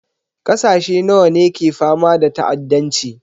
Ƙasashe nawa ne ke fama da ta'addanci?